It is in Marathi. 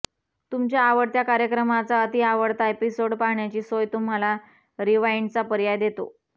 तुमच्या आवडत्या कार्यक्रमाचा अतिआवडता एपिसोड पाहण्याची सोय तुम्हाला रिवाइंडचा पर्याय देतो